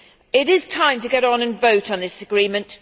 It is time to get on and vote on this agreement.